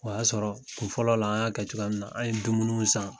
O y'a sɔrɔ kun fɔlɔ la an y'a kɛ cogoya min na, an' ye dumunuw san.